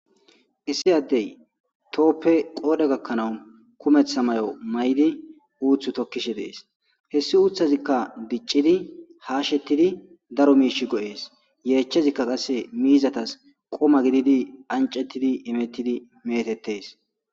Issi addey tooppe qoodhe gakkanawu kumeththa may7o may7di uuthu tokkishe dees hessi uuthazikka biccidi haashettidi daro miish go7ees yeechchezikka qasse miizatas qoma gididi ancettidi imettidi metettes.